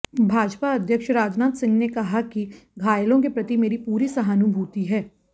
भाजपा अध्यक्ष राजनाथ सिंह ने कहा कि धायलों के प्रति मेरी पूरी सहानुभूति है